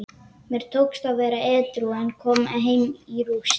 Mér tókst að vera edrú en kom heim í rúst.